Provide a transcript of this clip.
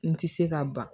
N ti se ka ban